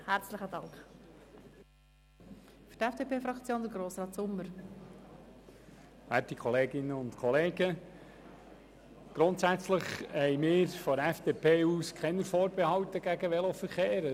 Grundsätzlich haben wir vonseiten der FDP-Fraktion keine Vorbehalte gegen den Veloverkehr.